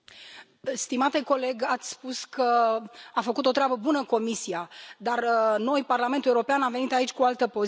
Domnule Telička, ați spus că a făcut o treabă bună Comisia, dar noi, Parlamentul European, am venit aici cu altă poziție.